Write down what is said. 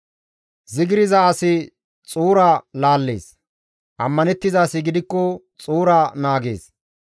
Zigirza asi xuura laallees; ammanettiza asi gidikko xuura naagees.